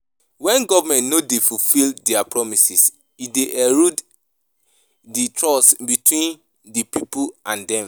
When government no dey fulfill dia promises, e dey erode di trust between di people and dem.